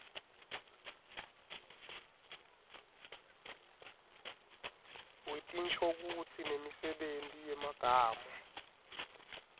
wetinshokutsi nemisebenti yemagama